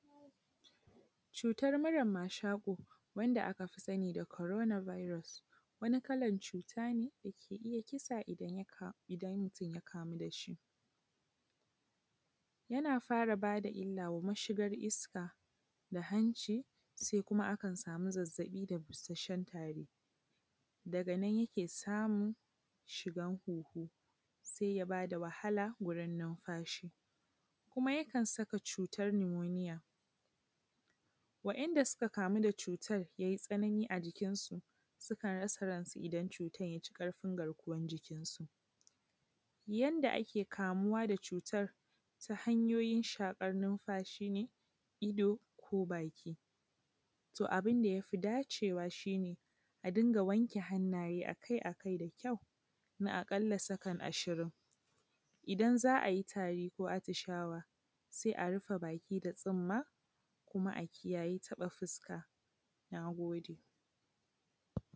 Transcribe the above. Cutar murar mashaƙo, wanda aka fi sani da corona virus. Cuta ne dake iya kisa idan mutum ya kama da shi, yana fara ba da illa ga iskar mashigar hanci a sai kuma akan sam zazzabi da busasshen tari daga nan yake samun shigar hunhu. Sai ya ba da wahala wurin nunfashi. Kuma yakan saka cutar lumonia. Waɗanda suka kamu da cutar ya yi tsanani a cikinsu sukan rasa ransu idan cutar ya ci ƙarfin garkuwan jikinsu. Yanda ake kamuwa da cutar ta hanyoyin shaƙar nunfashin, ido ko baki. Toh abun da ya fi dacewa shi ne a dunga gani a kai a kai na a ƙalla sakan ashirin. Idan za a yi tari ko attishawa, sai a rufe baki da tsumma ko kuma a kiyayi taɓa fuska da hannu. Na gode